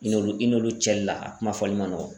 I n'olu i n'olu cɛli la a kuma fɔli man nɔgɔn.